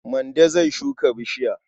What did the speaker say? Mande zai shuka bishiya.